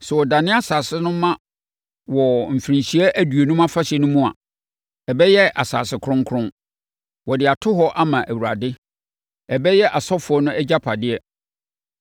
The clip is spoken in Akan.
Sɛ wɔdane asase no ma wɔ Mfirinhyia Aduonum Afahyɛ no mu a, ɛbɛyɛ asase kronkron. Wɔde ato hɔ ama Awurade. Ɛbɛyɛ asɔfoɔ no agyapadeɛ.